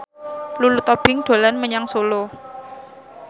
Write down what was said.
Lulu Tobing dolan menyang Solo